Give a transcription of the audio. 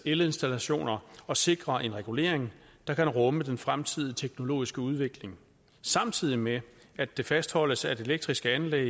elinstallationer og sikre en regulering der kan rumme den fremtidige teknologiske udvikling samtidig med at det fastholdes at elektriske anlæg